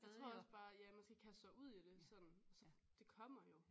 Jeg tror også ja man skal kaste sig ud i det sådan så det kommer jo